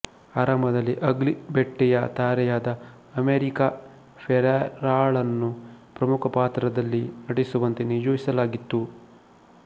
ಆರಂಭದಲ್ಲಿ ಅಗ್ಲಿ ಬೆಟ್ಟಿಯ ತಾರೆಯಾದ ಅಮೆರಿಕಾ ಫೆರೇರಾಳನ್ನು ಪ್ರಮುಖ ಪಾತ್ರದಲ್ಲಿ ನಟಿಸುವಂತೆ ನಿಯೋಜಿಸಲಾಗಿತ್ತು